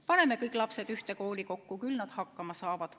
Paneme kõik lapsed ühte kooli kokku, küll nad hakkama saavad.